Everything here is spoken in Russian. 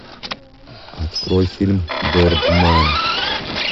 открой фильм бердмэн